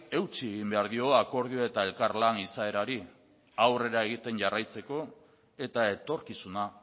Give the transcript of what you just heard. eutsi egin behar dio akordio eta elkarlan izaerari aurrera egiten jarraitzeko eta etorkizuna